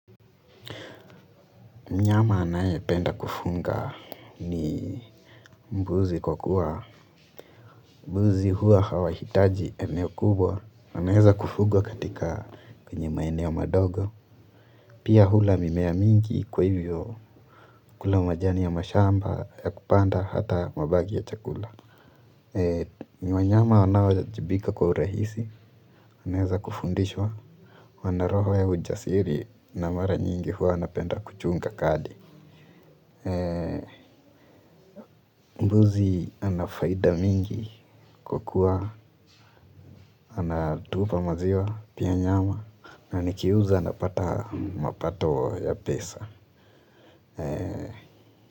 Mnyama anayependa kufunga ni mbuzi kwa kuwa. Mbuzi huwa hawahitaji eneo kubwa. Wanaeza kufugwa katika kwenye maeneo madogo. Pia hula mimea mingi kwa hivyo kula majani ya mashamba ya kupanda hata mabaki ya chakula. Wanyama wanaowajibika kwa urahisi. Wanaeza kufundishwa. Wana roho ya ujasiri na mara nyingi huwa napenda kuchunga kadi. Mbuzi ana faida mingi kwa kuwa anatupa maziwa pia nyama na nikiuza napata mapato ya pesa.